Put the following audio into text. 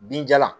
Binjalan